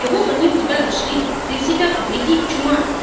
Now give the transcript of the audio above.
кого бы они у тебя нашли ты в себя то прийди чума